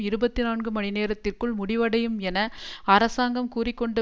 இருபத்தி நான்கு மணி நேரத்திற்குள் முடிவடையும் என அரசாங்கம் கூறி கொண்ட